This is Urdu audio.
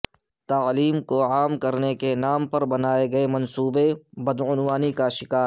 تعلیم کو عام کرنے کے نام پربنائے گئے منصوبے بدعنوانی کا شکار